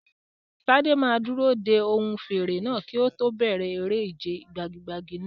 Tade máa dúró de ohùn fèrè náà kí ó tó bẹ̀rẹ̀ eré ìje gbagi-gbagi náà.